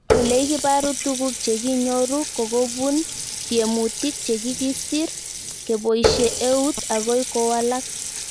Ole ikiparu tuguk che kinyoru ko kopun tiemutik che kikisir kepoishe eut akoy kowalak